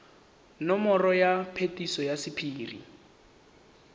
nomoro ya phetiso ya sephiri